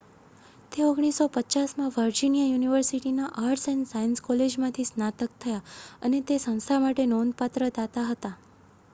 તે 1950 માં વર્જિનિયા યુનિવર્સિટીના આર્ટ્સ એન્ડ સાયન્સ કોલેજમાંથી સ્નાતક થયા અને તે સંસ્થા માટે નોંધપાત્ર દાતા હતા